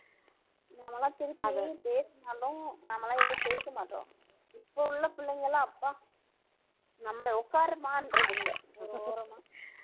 நாம எல்லாம் திருப்பி பேசினாலும் நாம எல்லாம் எதுவும் பேச மாட்டோம் இப்ப உள்ள பிள்ளைங்க எல்லாம் அப்பா நம்மளை உட்காருமான்றது இல்லை ஒரு ஓரமா